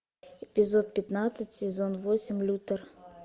эпизод пятнадцать сезон восемь лютер